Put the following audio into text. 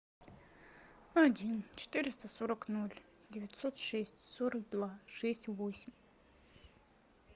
один четыреста сорок ноль девятьсот шесть сорок два шесть восемь